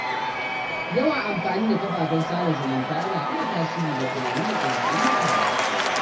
Yawan amfani da kafafen sada zumunta yana iya tasiri ga tunani da ɗabi’un mutane.